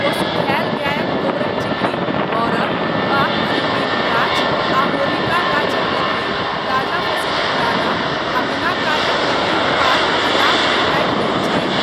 ओ सुखाएल गायक गोबरक चिपड़ी, अरड़ वा अरण्डीक गाछ आ होलिका गाछक लकड़ी, ताजा फसिलक दाना, आ बिनाकाजक लकड़ीक पात अलावमे राखि दैत छथि।